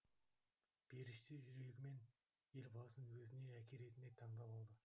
періште жүрегімен елбасын өзіне әке ретінде таңдап алды